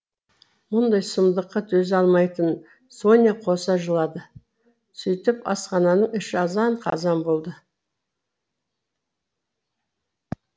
мұндай сұмдыққа төзе алмайтын соня қоса жылады сөйтіп асхананың іші азан қазан болды